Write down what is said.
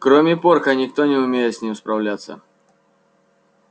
кроме порка никто не умеет с ним справляться